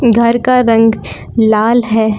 घर का रंग लाल है।